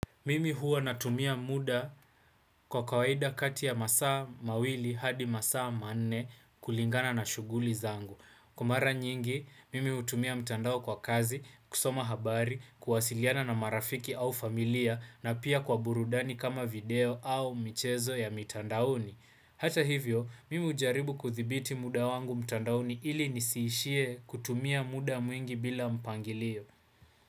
Mimi huwa natumia muda kwa kawaida kati ya masaa mawili hadi masaa manne kulingana na shughuli zangu. Kwa mara nyingi, mimi hutumia mtandao kwa kazi, kusoma habari, kuwasiliana na marafiki au familia na pia kwa burudani kama video au michezo ya mtandaoni. Hata hivyo, mimi ujaribu kuthibiti muda wangu mtandaoni ili nisiishie kutumia muda mwingi bila mpangilio.